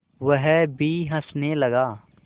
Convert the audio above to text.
वह भी हँसने लगा